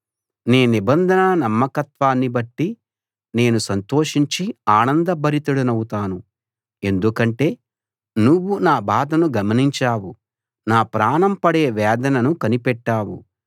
నీ నిబంధన నమ్మకత్వాన్ని బట్టి నేను సంతోషించి ఆనందభరితుడినౌతాను ఎందుకంటే నువ్వు నా బాధను గమనించావు నా ప్రాణం పడే వేదనను కనిపెట్టావు